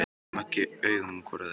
Sleppum ekki augum hvor af öðrum.